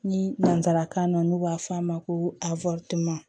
Ni nanzarakan na n'u b'a fɔ a ma ko a